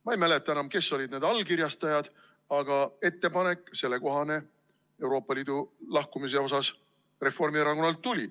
Ma ei mäleta enam, kes olid need allkirjastajad, aga selline ettepanek Euroopa Liidust lahkumise kohta Reformierakonnalt tuli.